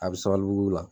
A bɛ sabalibugu